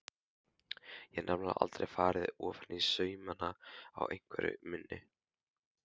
Hef nefnilega aldrei farið ofaní saumana á einveru minni.